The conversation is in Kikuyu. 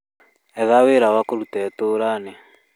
Etha wĩra wa kũruta itura-inĩ